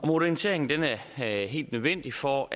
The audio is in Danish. moderniseringen er helt nødvendig for